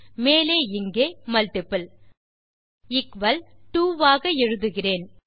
மேலே இங்கே multiple equal 2 ஆக எழுதுகிறேன்